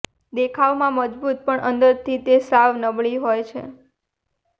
દેખાવમાં મજબૂત પણ અંદરથી તે સાવ નબળી હોય છે